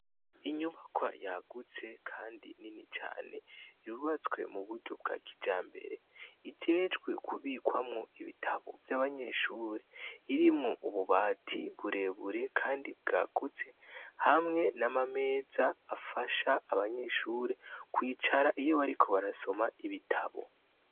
Inyubakwa yagutse kandi nini cane yubatswe muburyo bwa kijambere ijejwe kubikwamwo ibitabo Vy’abanyeshure irimwo ububati burebure kandi bwagutse hamwe n’amameza afasha abanyeshure kwicara iyo bariko barasoma ibitabo.